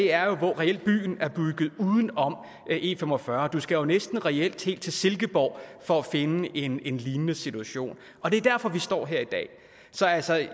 er reelt bygget uden om e45 og du skal jo næsten reelt helt til silkeborg for at finde en en lignende situation og det er derfor vi står her i dag så altså jeg